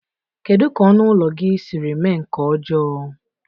Kedu ka ọnụ ụlọ gị siri mee nke ọjọọ?